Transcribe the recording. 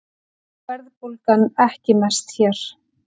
Verðbólgan ekki mest hér